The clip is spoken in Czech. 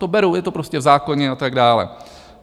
To beru, je to prostě v zákoně a tak dále.